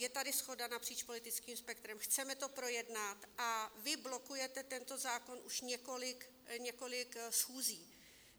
Je tady shoda napříč politickým spektrem, chceme to projednat, a vy blokujete tento zákon už několik schůzí.